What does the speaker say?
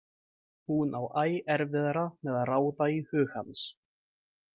Hún á æ erfiðara með að ráða í hug hans.